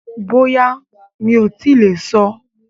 Bóyá, mi ò tíì lè sọ